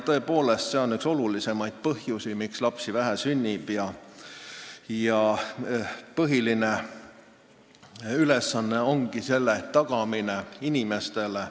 Tõepoolest, see on üks olulisemaid põhjusi, miks lapsi sünnib vähe, ja põhiline ülesanne ongi turvatunde tagamine inimestele.